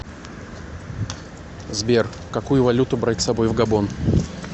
сбер какую валюту брать с собой в габон